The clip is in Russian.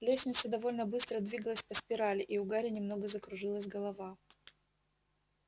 лестница довольно быстро двигалась по спирали и у гарри немного закружилась голова